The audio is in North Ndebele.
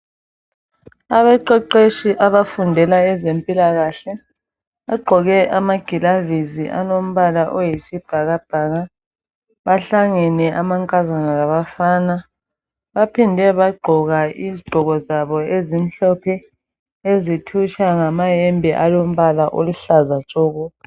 Abaqeqeshi abafundela ezempilakahle bagqoke amagilavisi alombala oyisibhakabhaka. Bahlangene amankazana labafana, baphinde bagqoka izigqoko zabo ezimhlophe ezithutsha ngamayembe alombala oluhlaza tshoko.